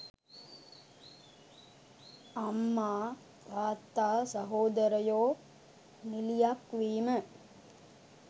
අම්මා තාත්තා සහෝදරයෝ නිළියක් වීම